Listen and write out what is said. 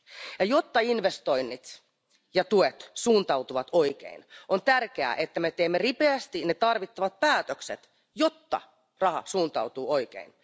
Ja jotta investoinnit ja tuet suuntautuvat oikein, on tärkeää, että me teemme ripeästi ne tarvittavat päätökset, jotta raha suuntautuu oikein.